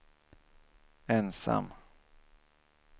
ensam